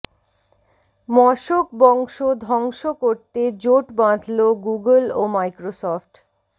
মশক বংশ ধ্বংস করতে জোট বাঁধল গুগল ও মাইক্রোসফট